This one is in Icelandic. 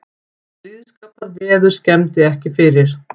Blíðskaparveður skemmdi ekki fyrir